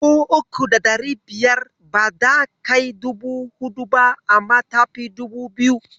Dubu uku da ɗari biyar bata kai dubu huɗu ba, amma ta fi dubu biyu.